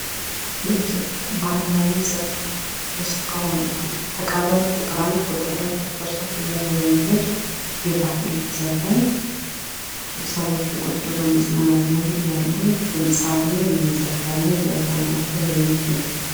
የኢትዮጵያ ባህላዊ ዘፈን ከሆኑት ውስጥ አንዱ ተቀበል ቁጥር አንድ፣ ቁጥር ሁለት፣ ቁጥር ሶስት እያለ የሚሄድ የባህል ዘፈን ሰዎች ቁጭ ብለው በመዝናናት ላይ እያሉ ድምፃዊው እየዘፈነ እያዝናናቸው የሚገኝ